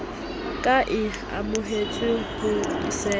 ka e amohetswe ho sasa